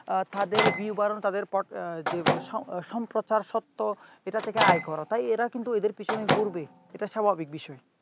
তাদের view বাড়ানো তাদের যেগুলো সম্প্রচার সত্য সেটা থেকে আয় করা তাই এরা কিন্তু এদের পিছনে ঘুরবে এটা স্বাভাবিক বিষয়।